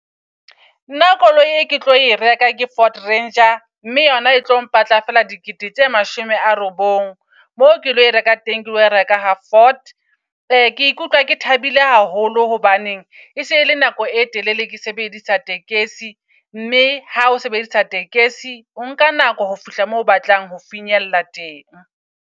Nna koloi e ke tlo e reka ke Ford Ranger mme yona e tlo mpatla fela dikete tse mashome a robong. Mo ke lo reka teng, ke lo reka ha Ford. Ke ikutlwa ke thabile haholo. Hobaneng e sele nako e telele ke sebedisa tekesi. Mme ha o sebedisa tekesi, o nka nako ho fihla moo o batlang ho finyella teng.